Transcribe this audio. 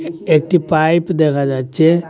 একটি পাইপ দেখা যাচ্ছে।